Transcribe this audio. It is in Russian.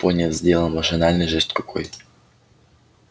пониетс сделал машинальный жест рукой